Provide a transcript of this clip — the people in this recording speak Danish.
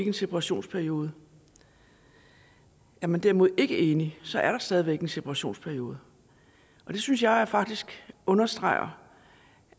en separationsperiode er man derimod ikke enige så er der stadig væk en separationsperiode og det synes jeg faktisk understreger